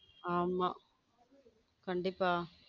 ஆமா கண்டிப்பா.